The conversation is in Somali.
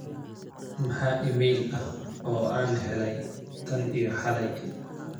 maxaa iimayl ah oo aan helay tan iyo xalay